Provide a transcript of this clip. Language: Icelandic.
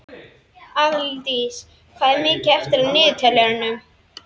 Aðaldís, hvað er mikið eftir af niðurteljaranum?